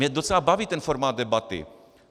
Mě docela baví ten formát debaty.